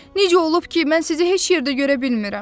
Necə olub ki, mən sizi heç yerdə görə bilmirəm?